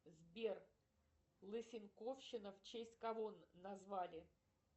сбер лысенковщина в честь кого назвали